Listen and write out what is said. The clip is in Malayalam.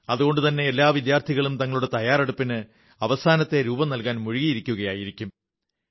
അതുകൊണ്ടുതന്നെ എല്ലാ വിദ്യാർഥികളും തങ്ങളുടെ തയ്യറെടുപ്പിന് അവസാനത്തെ രൂപം നൽകാൻ മുഴുകിയിരിക്കയായിരിക്കും